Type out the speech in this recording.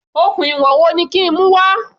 Okùn ìwọ̀n wo ni kí n mú wá?